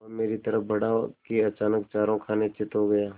वह मेरी तरफ़ बढ़ा कि अचानक चारों खाने चित्त हो गया